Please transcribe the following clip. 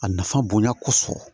A nafa bonya kosɔn